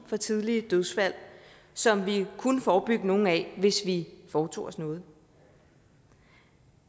for tidlige dødsfald som vi kunne forebygge nogle af hvis vi foretog os noget